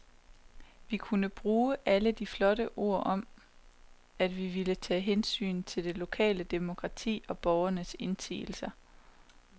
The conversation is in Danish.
Vi kunne bruge alle de flotte ord om, at vi ville tage hensyn til det lokale demokrati og borgernes indsigelser.